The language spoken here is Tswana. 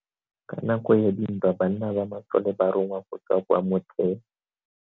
Ka nako ya dintwa banna ba masole ba rongwa go tswa kwa motheo.